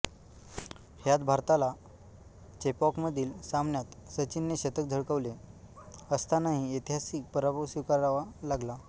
ह्यात भारताला चेपॉकमधील सामन्यात सचिनने शतक झळकवले असतानाही ऐतिहासिक पराभव स्वीकारावा लागला